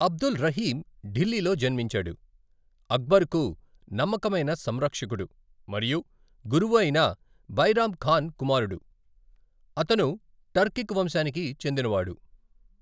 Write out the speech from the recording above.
అబ్దుల్ రహీమ్ ఢిల్లీలో జన్మించాడు, అక్బర్కు నమ్మకమైన సంరక్షకుడు మరియు గురువు అయిన బైరామ్ ఖాన్ కుమారుడు, అతను టర్కిక్ వంశానికి చెందినవాడు.